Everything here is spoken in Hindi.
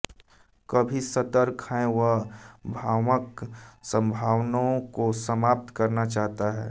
कभी सतर्क है वह भ्रामक संभावनाओं को समाप्त करना चाहता था